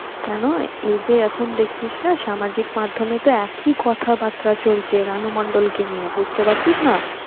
কেন এই যে, এখন দেখছিস না সামাজিক মাধ্যমে তে একই কথা বার্তা চলছে রানু মন্ডল কে নিয়ে বুঝতে পারছিস না